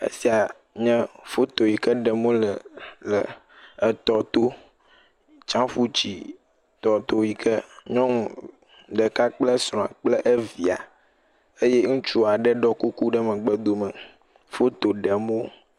Esia nye foto yi ke ɖem wole le etɔto tsãƒutsi tɔto yi ke nyɔnu ɖeka kple esrɔ̃a kple evia eye ŋutsu aɖe ɖɔ kuku ɖe megbedome foto ɖem wo.